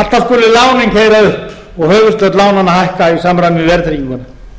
alltaf skulu lánin upp og höfuðstóll lánanna hækka í samræmi við verðtrygginguna